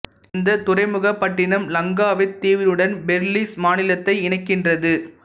இந்தத் துறைமுகப் பட்டினம் லங்காவித் தீவுடன் பெர்லிஸ் மாநிலத்தை இணைக்கின்றது